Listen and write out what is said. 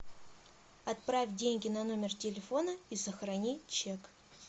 отправь деньги на номер телефона и сохрани чек